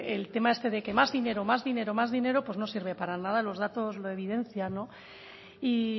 el tema este de que más dinero más dinero más dinero pues no sirve para nada los datos lo evidencian y